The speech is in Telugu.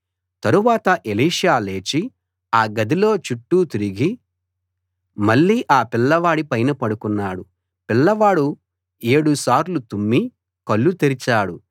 తరువాత ఎలీషా లేచి ఆ గదిలో చుట్టూ తిరిగి మళ్ళీ ఆ పిల్లవాడి పైన పడుకున్నాడు పిల్లవాడు ఏడుసార్లు తుమ్మి కళ్ళు తెరిచాడు